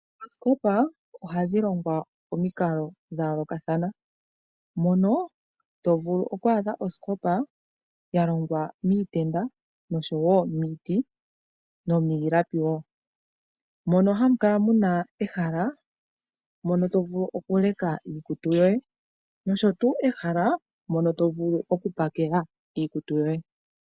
Oosikopa odhadhi longwa pamikalo dha yoolokathana mono to vulu oku adha osikopa ya longwa miitenda oshowo miiti nomiilapi wo mono hamu kala muna wo ehala mono tovulu oku leka iikutu yoye noshowo ehala mono to vulu oku pakela iikutu yoye.